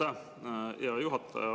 Aitäh, hea juhataja!